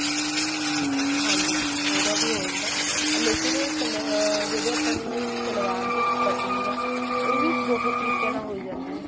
ਹਾਂਜੀ ਹਾਂਜੀ ਉਹਦਾ ਵੀ ਹੋ ਜਾਂਦਾ ਅਹ ਲੇਕਿਨ ਸਲ ਜਿਹੜੀ ਆਪਣੀ ਸਲਵਾਰ ਦੀ cutting ਏ ਉਹ ਵੀ ਬਹੁਤ ਤਰੀਕਿਆਂ ਨਾਲ ਹੋਈ ਜਾਂਦੀ ਆ